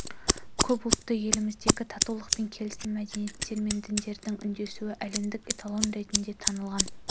көпұлтты еліміздегі татулық пен келісім мәдениеттер мен діндердің үндесуі әлемдік эталон ретінде танылған